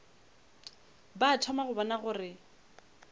ba thoma go bona gore